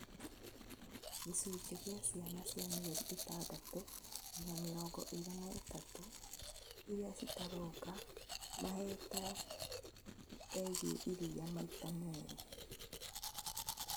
Gĩcunjĩ kĩa ciana cia mĩeri ĩtandatũ nginya mĩrongo ĩĩrĩ na ĩtatũ irĩa citaronga mahetwo engwe iria maita meerĩ